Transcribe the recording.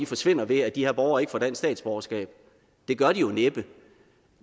forsvinder ved at de her borgere ikke får dansk statsborgerskab det gør de jo næppe